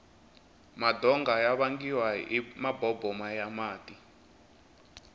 madonga ya vangiwa hi maboboma ya mati